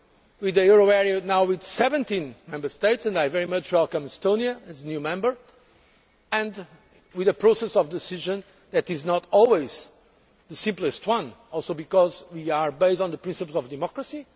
with the euro area now with 17 Member States and I very much welcome Estonia as a new member and with a process of decision making that is not always the simplest one, in part, because we are based on the principle of democracy.